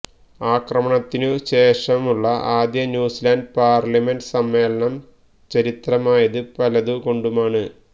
ആക്രമണത്തിനു ശേഷമുള്ള ആദ്യ ന്യൂസിലാന്റ് പാര്ലമെന്റ് സമ്മേളനം ചരിത്രമായത് പലതു കൊണ്ടുമാണ്